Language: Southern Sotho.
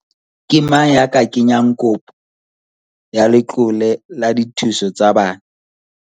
Ke mang ya ka kenyang kopo ya letlole la dithuso tsa bana?